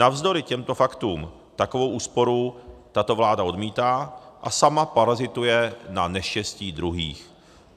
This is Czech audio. Navzdory těmto faktům takovou úsporu tato vláda odmítá a sama parazituje na neštěstí druhých.